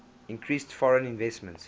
increased foreign investment